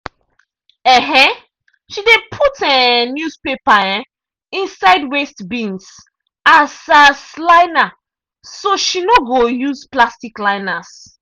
um she dey put um newspaper um inside waste bins as as liner so she no go use plastic liners.